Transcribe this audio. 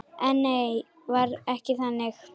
En nei, var ekki þannig.